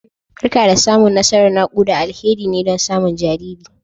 Barka da samun nasarar naƙuda, alheri ne don samun jariri